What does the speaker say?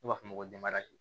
Ne b'a f'o ma ko